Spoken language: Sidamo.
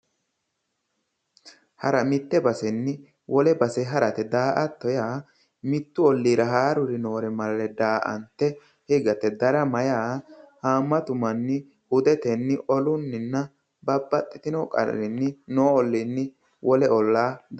Hara daa'attonna darama :- hara mitte basenni wole base harate yaate daa'atto yaa mittu olliira haaruri noore daa'ante higate daramate yaa haammatu manni hudeteninna olunni babaxxino qarri noo oliinni wole ollaa daramate